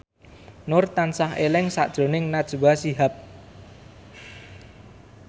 Nur tansah eling sakjroning Najwa Shihab